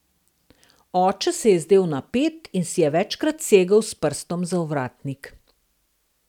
Oče se je zdel napet in si je večkrat segel s prstom za ovratnik.